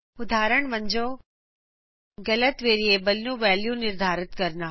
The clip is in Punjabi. ਉਦਾਹਰਣ ਵਜੋਂ ਗਲਤ ਵੇਰੀਏਬਲ ਵਿਚ ਵੈਲਯੂ ਦਰਸ਼ਾਨਾ